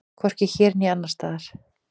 Hvorki hér né annars staðar.